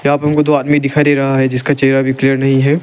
यहां प हमको दो आदमी दिखाई दे रहा है जिसका चेहरा भी क्लियर नहीं है।